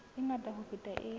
e ngata ho feta e